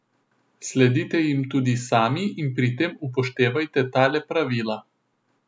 Sledite jim tudi sami in pri tem upoštevajte tale pravila.